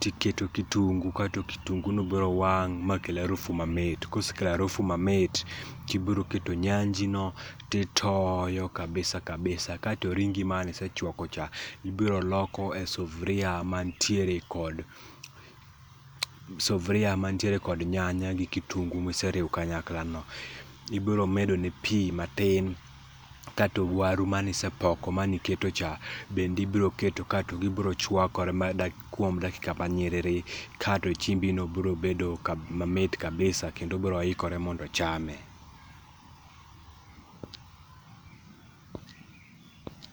tiketo kitungu kaito kitungu n biro wang makel arufu mamit, ka osekelo arufu mamit tibiro keto nyanji no titoyokabisa kabisa kaito ringi mane isechwako cha ibiro loke sufria mantiere kod nyanya gi kitungu miseriwo kanyakla no, ibiro medone pii matin kaito waru mane isepok mane iketo cha bend eibiro keto kaito giiro chwalkore mar dakika nyiriri kaito chiembi no biro bedo mamit kabisa kaito biro ikore mondo ochame.